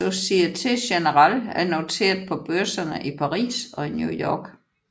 Société Générale er noteret på børserne i Paris og i New York